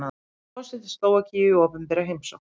Forseti Slóvakíu í opinbera heimsókn